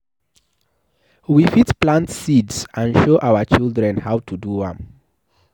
We fit plant seeds and show our children how to do am